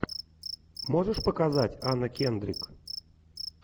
можешь показать анна кендрик